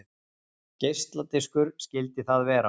Geisladiskur skyldi það vera.